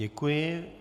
Děkuji.